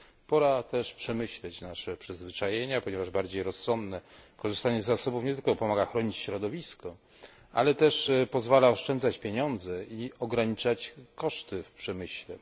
Pora też przemyśleć nasze przyzwyczajenia, ponieważ bardziej rozsądne korzystanie z zasobów nie tylko pomaga chronić środowisko, ale też pozwala oszczędzać pieniądze i ograniczać koszty w przemyśle.